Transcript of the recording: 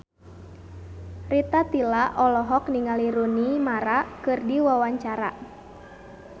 Rita Tila olohok ningali Rooney Mara keur diwawancara